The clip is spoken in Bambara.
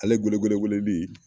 Ale gedegede weeleli